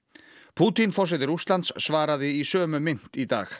Pútín forseti Rússlands svaraði í sömu mynt í dag